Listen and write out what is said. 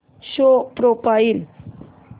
show profile